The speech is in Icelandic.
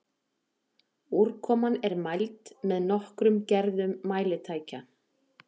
Úrkoma er mæld með nokkrum gerðum mælitækja.